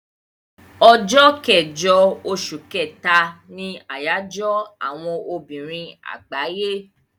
Ọjọ́ kẹjọ oṣù kẹ́ta ni àyájọ́ àwọn obìnrin àgbáyé.